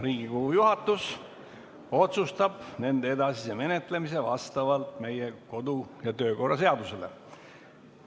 Riigikogu juhatus otsustab nende edasise menetlemise meie kodu- ja töökorra seaduse kohaselt.